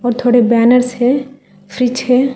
और थोड़े बैनर्स है फ्रिज है।